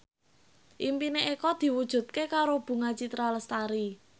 impine Eko diwujudke karo Bunga Citra Lestari